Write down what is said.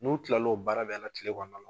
N'o tilal'o baara bɛɛ la tile kɔnɔna